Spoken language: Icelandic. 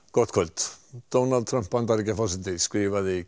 gott kvöld Donald Trump Bandaríkjaforseti skrifaði